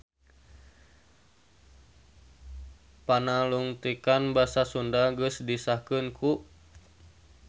Panalungtikan Basa Sunda geus disahkeun ku